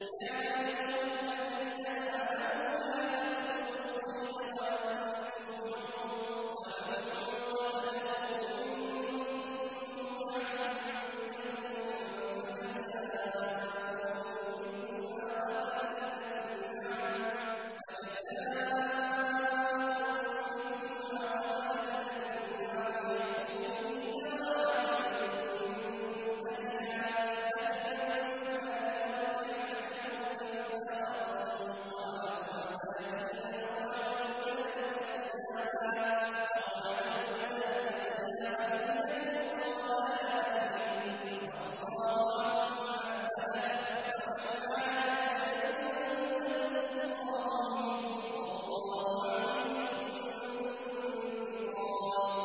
يَا أَيُّهَا الَّذِينَ آمَنُوا لَا تَقْتُلُوا الصَّيْدَ وَأَنتُمْ حُرُمٌ ۚ وَمَن قَتَلَهُ مِنكُم مُّتَعَمِّدًا فَجَزَاءٌ مِّثْلُ مَا قَتَلَ مِنَ النَّعَمِ يَحْكُمُ بِهِ ذَوَا عَدْلٍ مِّنكُمْ هَدْيًا بَالِغَ الْكَعْبَةِ أَوْ كَفَّارَةٌ طَعَامُ مَسَاكِينَ أَوْ عَدْلُ ذَٰلِكَ صِيَامًا لِّيَذُوقَ وَبَالَ أَمْرِهِ ۗ عَفَا اللَّهُ عَمَّا سَلَفَ ۚ وَمَنْ عَادَ فَيَنتَقِمُ اللَّهُ مِنْهُ ۗ وَاللَّهُ عَزِيزٌ ذُو انتِقَامٍ